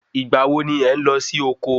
Igbà wo ni ẹ n lọ sí oko?